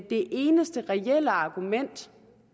det eneste reelle argument